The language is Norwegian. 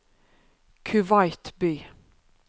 Kuwait by